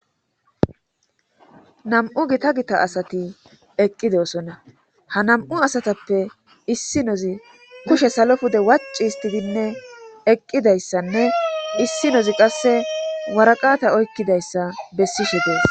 nam7u gita gita asati eqqidesonna ha nam7u asatappe issi nozi kushe salo pude wac histidinne eqqidayssanne issi nozi qasse waraqata oykkidayssa bessishe dees